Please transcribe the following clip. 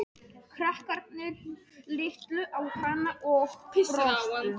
Krakkarnir litu á hana og brostu.